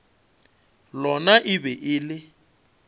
lona e be e le